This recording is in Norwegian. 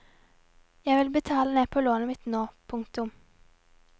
Jeg vil betale ned på lånet mitt nå. punktum